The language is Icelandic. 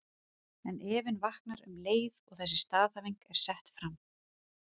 En efinn vaknar um leið og þessi staðhæfing er sett fram.